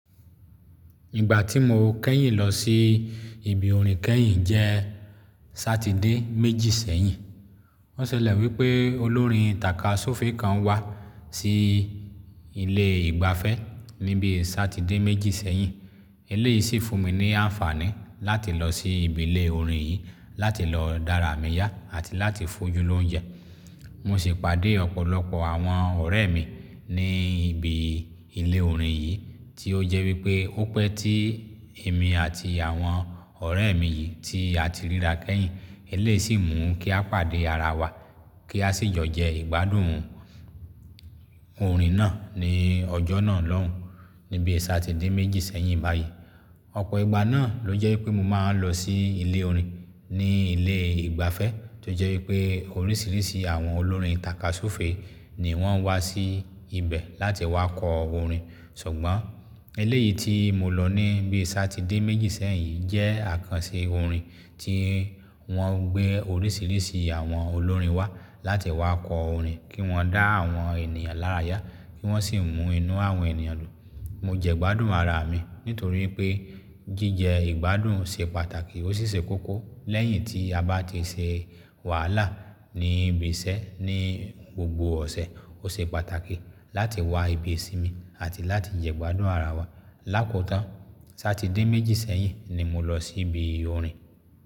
Ìgbà tí mo kẹ́yìn lọ sí ibi orin kẹ́yìn jẹ́ Satide méjì sẹ́yìn. Wọ́n sẹlẹ̀ wípé olórin tàka súfèé kan wá sí ilé ìgbafẹ́ níbi Satide méjì sẹ́yìn. Eleyìí sì fún mi ní àǹfààní láti lọ sí ìbí ile orin yìí láti lọ dára mì yá àti láti fojú lóúnjẹ. Mo sì pàdé ọ̀pọ̀lọpọ̀ àwọn ọ̀rẹ́ mi ní ibi ilé orin yìí tí ó jẹ́ wípé ó pẹ́ tí èmi àti àwọn ọ̀rẹ́ mi yìí tí a ti ríra kẹ́yìn. Eléyìí sì mú kí a pàdé ara wa, kí a sì jọ̀ jẹ ìgbádùn orin náà ní ọjọ́ náà lọhùn níbi Satide méjì sẹ́yìn báyìí. Ọ̀pọ̀ ìgbà náà ló jẹ́ wípé mo máa ń lọ sí ilé orin ní ilé ìgbafẹ́ tó jẹ́ wípé oríṣiríṣi àwọn olórin tàka súfèé ni wọ́n ń wá sí ibẹ̀ láti wá kọ orin. Ṣùgbọ́n eléyìí tí mo lọ níbi Satide méjì sẹ́yìn jẹ́ àkànṣe orin tí wọ́n gbé oríṣiríṣi àwọn olórin wá láti wá kọ orin kí wọ́n dá àwọn ènìyàn lára yá, kí wọ́n sì mú inú àwọn ènìyàn dùn. Mo jẹ ìgbádùn ara mi nítorí pé jíjẹ ìgbádùn ṣe pàtàkì. Ó sisẹ́ kókó lẹ́yìn tí a bá ti se wàhálà ní ibi isẹ́ ní gbogbo ọ̀sẹ̀. Ó se pàtàkì láti wá ibi ìsinmi àti láti jẹ ìgbádùn ara wa. Láko tán, Satide méjì sẹ́yìn ni mo lọ sí ibi orin.